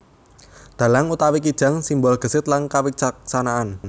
Dhalang utawi kijang simbol gesit lan kawicaksanaan